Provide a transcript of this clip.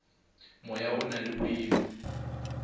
moya o na le boima